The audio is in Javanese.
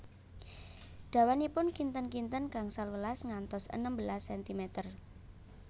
Dawanipun kinten kinten gangsal welas ngantos enem belas sentimer